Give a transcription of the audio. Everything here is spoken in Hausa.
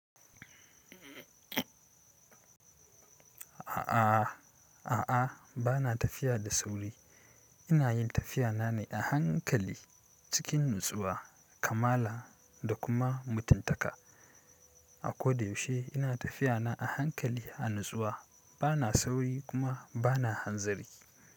A'a, a'a bana tafiya da sauri. Ina yin tafiya na ne a hankali cikin nutsuwa, kamala da kuma mutuntaka. A ko da yaushe ina tafiya na a hankali a nutsuwa bana sauri kuma bana hanzari.